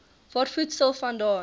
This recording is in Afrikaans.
waar voedsel vandaan